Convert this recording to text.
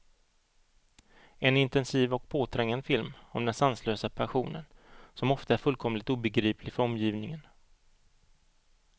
En intensiv och påträngande film om den sanslösa passionen, som ofta är fullkomligt obegriplig för omgivningen.